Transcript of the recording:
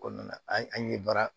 Kɔnɔna na an ye an ye baara